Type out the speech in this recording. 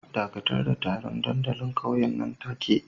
Dakatar da taron dandalin ƙauyen nan take